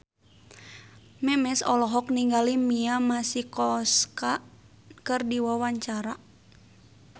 Memes olohok ningali Mia Masikowska keur diwawancara